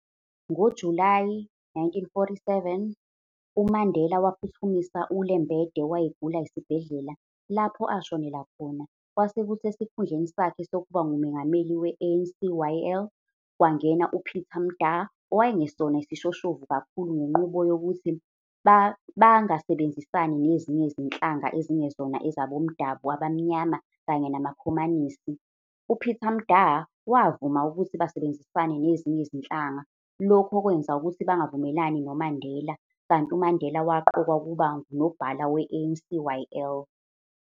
NgoJulayi 947, uMandela waphuthumisa uLembede owayegula esibhedlela, lapho ashonela khona, kwasekuthi esikhundleni sakhe sokuba ngumengameli we-ANCYL, kwangena uPeter Mda owayengesona isishoshovu kakhulu ngenqubo yokuthi bangasebenzisani nezinye izinhlanga ezingezona ezabomdaba abamnyama kanye namakhomanisi, uPeter Mda, wavuma ukuthi basebenzisane nezinye izinhlanga, lokhu okwenza ukuthi bangavumelani noMandela, kanti uMandela waqokwa ukuba ngunobhala we-ANCYL.